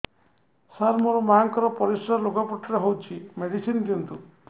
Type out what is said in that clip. ସାର ମୋର ମାଆଙ୍କର ପରିସ୍ରା ଲୁଗାପଟା ରେ ହଉଚି ମେଡିସିନ ଦିଅନ୍ତୁ